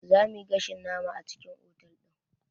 Za muyi gashin nama a cikin otal ɗin